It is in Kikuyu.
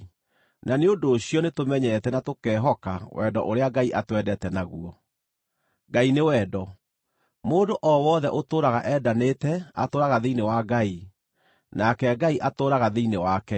Na nĩ ũndũ ũcio nĩtũmenyete na tũkehoka wendo ũrĩa Ngai atwendete naguo. Ngai nĩ wendo. Mũndũ o wothe ũtũũraga endanĩte atũũraga thĩinĩ wa Ngai, nake Ngai atũũraga thĩinĩ wake.